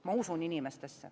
Ma usun inimestesse.